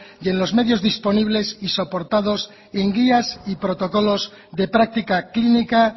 y en los medios disponibles y soportados en guías y protocolos de práctica clínica